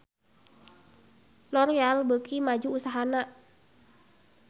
L'oreal beuki maju usahana